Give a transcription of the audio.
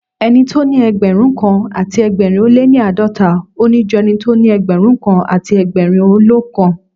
Ẹni tóní Ẹgbẹ̀rúnkan àti ẹgbẹ̀rin ó lé ní àádọ́ta, òní ju ẹnitó ní Ẹgbẹ̀rún kan àti ẹgbẹ̀rin ó lóókan.